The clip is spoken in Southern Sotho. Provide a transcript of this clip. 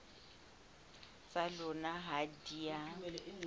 tsa lona ha di a